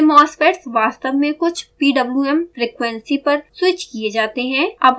ये mosfets वास्तव में कुछ pwm frequency पर स्विच किये जाते हैं